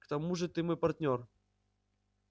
к тому же ты мой партнёр